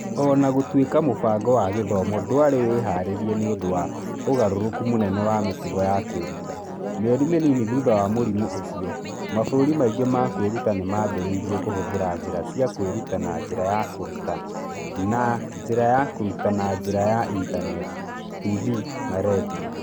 O na gũtuĩka mũbango wa gĩthomo ndwarĩ wĩharĩirie nĩ ũndũ wa ũgarũrũku mũnene wa mĩtugo ya kwĩruta, mĩeri mĩnini thutha wa mũrimũ ũcio, mabũrũri maingĩ ma kwĩruta nĩ maambĩrĩirie kũhũthĩra njĩra cia kwĩruta na njĩra ya kũruta na njĩra ya kũruta na njĩra ya ĩntaneti, TV na redio.